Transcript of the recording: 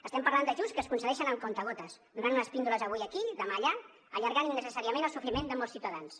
estem parlant d’ajuts que es concedeixen amb comptagotes donen unes píndoles avui aquí demà allà i allarguen innecessàriament el sofriment de molts ciutadans